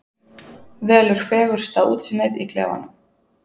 Velur fegursta útsýnið í klefanum.